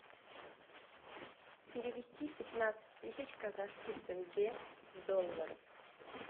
перевести пятнадцать тысяч казахских тенге в доллары